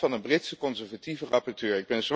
En dat van een Britse conservatieve rapporteur.